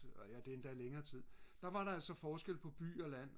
og det er endda længere tid der var der altså forskel på by og land